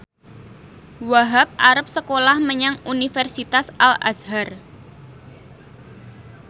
Wahhab arep sekolah menyang Universitas Al Azhar